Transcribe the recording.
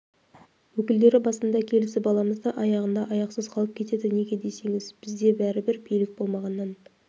өкілдері басында келісіп аламыз да аяғында аяқсыз қалып кетеді неге десеңіз бізде бәрібір билік болмағаннан